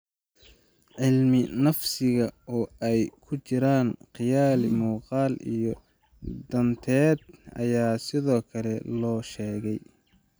Cilmi-nafsiga, oo ay ku jiraan qiyaali muuqaal iyo dhalanteed, ayaa sidoo kale la soo sheegay.